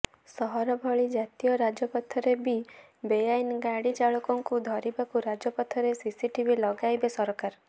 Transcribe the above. ସହର ଭଳି ଜାତୀୟ ରାଜପଥରେ ବି ବେଆଇନ ଗାଡ଼ି ଚାଳକଙ୍କୁ ଧରିବାକୁ ରାଜପଥରେ ସିସିଟିଭି ଲଗାଇବେ ସରକାର